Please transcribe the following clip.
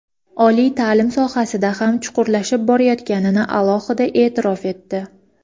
oliy ta’lim sohasida ham chuqurlashib borayotganini alohida e’tirof etdi.